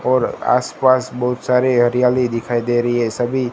और आस पास बहुत सारी हरियाली दिखाई दे रही है सभी--